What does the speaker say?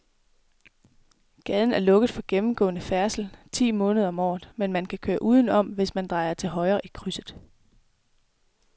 Gaden er lukket for gennemgående færdsel ti måneder om året, men man kan køre udenom, hvis man drejer til højre i krydset.